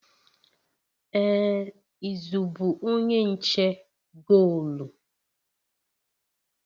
Ee izu bụ onye nche goolu